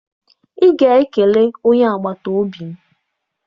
Ị ga-ekele onye agbata obi m!